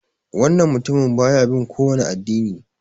Wannan mutumin baya bin kowani addini.